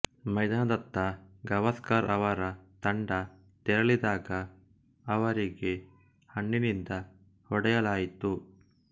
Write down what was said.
ಮೈದಾನದತ್ತ ಗವಾಸ್ಕರ್ ಅವರ ತಂಡ ತೆರಳಿದಾಗ ಅವರಿಗೆ ಹಣ್ಣಿನಿಂದ ಹೊಡೆಯಲಾಯಿತು